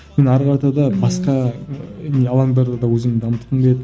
мен әрі қарата да басқа ы алаңдарда да өзімді дамытқым келеді